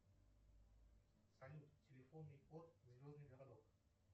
салют телефонный код звездный городок